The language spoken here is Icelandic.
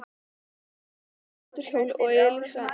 Lúlli kominn á mótorhjól og Elísa.